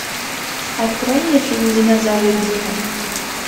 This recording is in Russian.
открой мне фильм динозаврик дино